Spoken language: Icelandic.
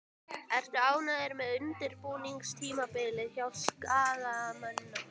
Ertu ánægður með undirbúningstímabilið hjá Skagamönnum?